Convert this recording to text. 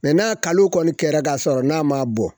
n'a kalo kɔni kɛra ka sɔrɔ n'a ma bɔn